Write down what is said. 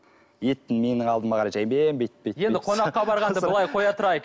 етті менің алдыма қарай жайымен бүйтіп енді қонаққа барғанды былай қоя тұрайық